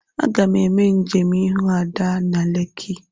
Aga m eme njem ihu Ada na Lekki..